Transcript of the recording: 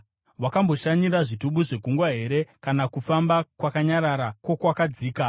“Wakamboshanyira zvitubu zvegungwa here, kana kufamba kwakanyarara kwokwakadzika?